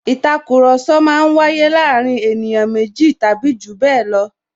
Ìtakùrọ̀sọ máa ń waye láàárín ènìyàn méjì tàbí jù bẹẹ lọ